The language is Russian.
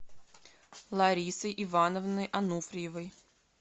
ларисой ивановной ануфриевой